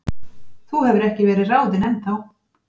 Þú hefur ekki verið ráðinn ennþá.